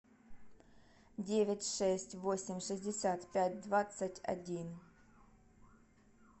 девять шесть восемь шестьдесят пять двадцать один